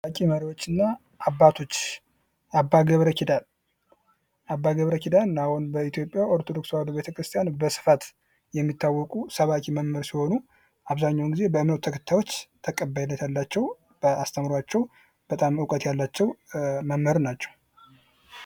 ታዋቂ መሪዎችንና አባቶች አባ ገብረኪዳን አባ ገብረኪዳን በኢትዮጵያ አሁን ታዋቂ መሪዎችንና አባቶች አባ ገብረኪዳን አባ ገብረኪዳን በኢትዮጵያ አሁን ካሳ የሚታወቁ ሰባኪ መምህር ናቸው።